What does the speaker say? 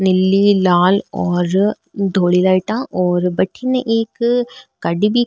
नीली लाल और ढोली लाइटा और भटीने एक गाड़ी भी --